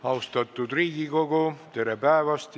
Austatud Riigikogu, tere päevast!